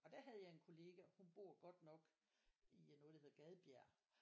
Og der havde jeg en kollega hun bor godt nok i noget der hedder Gadbjerg